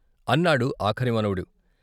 " అన్నాడు ఆఖరి మనవడు.